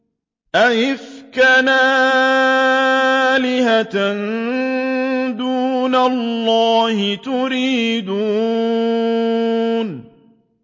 أَئِفْكًا آلِهَةً دُونَ اللَّهِ تُرِيدُونَ